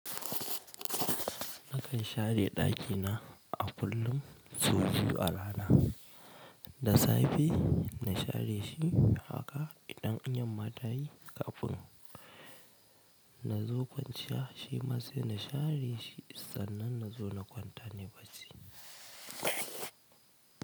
Nakan share ɗakina a kullum so biyu a rana. Da safe na share shi haka idan in yamma tayi kafin nazo kwanciya shi ma sai na share shi sannan nazo na kwanta ne bacci.